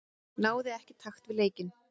Náði ekki takt við leikinn.